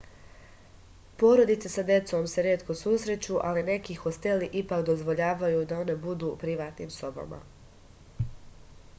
porodice sa decom se retko susreću ali neki hosteli ipak dozvoljavaju da one budu u privatnim sobama